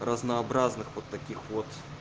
разнообразных вот таких вот